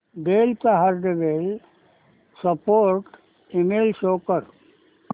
del चा hardware support email show कर